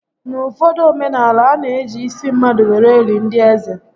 N'uụfọdụ omenaala, a na eji isi mmadụ were eli ndị eze